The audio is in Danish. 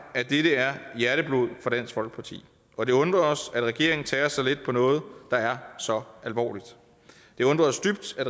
at dette er hjerteblod for dansk folkeparti og det undrer os at regeringen tager så let på noget der er så alvorligt det undrer os dybt at